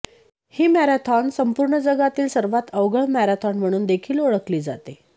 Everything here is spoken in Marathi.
ही मॅरोथॉन संपुर्ण जगातील सर्वात अवघड मॅरोथॉन म्हणून देखील ओळखली जाते